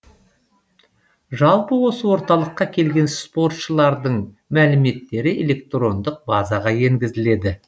жалпы осы орталыққа келген спортшылардың мәліметтері электрондық базаға енгізіледі